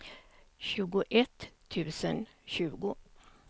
sjuttioett tusen tjugo